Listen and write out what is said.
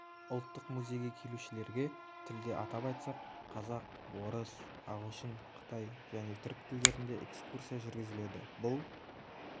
ұлттық музейге келушілерге тілде атап айтсақ қазақ орыс ағылшын қытай және түрік тілдерінде экскурсия жүргізіледі бұл